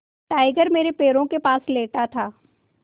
tiger मेरे पैरों के पास लेटा था